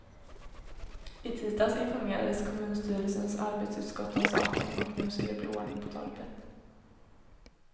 I tisdags informerades kommunstyrelsens arbetsutskott om saken och nu skall det bli ordning på torpet.